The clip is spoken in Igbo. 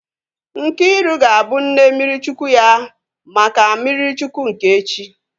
Nkiru ga-abụ nne mmiri Chukwu ya maka mmiri Chukwu nke echi